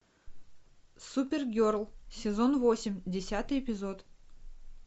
супергерл сезон восемь десятый эпизод